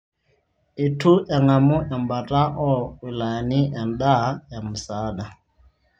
Eitu eng'amu e mbata oo wilayani endaa e msaada